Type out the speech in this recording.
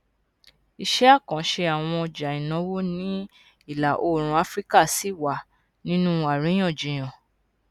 iṣẹ àkànṣe àwọn ọjà ìnáwó ní ìlà oòrùn áfíríkà ṣì wà nínú àríyànjiyàn